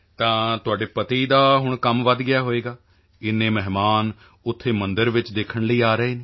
ਤਾਂ ਤੁਹਾਡੇ ਪਤੀ ਦਾ ਹੁਣ ਕੰਮ ਵਧ ਗਿਆ ਹੋਵੇਗਾ ਏਨੇ ਮਹਿਮਾਨ ਉੱਥੇ ਮੰਦਿਰ ਵਿੱਚ ਦੇਖਣ ਲਈ ਆ ਰਹੇ ਹਨ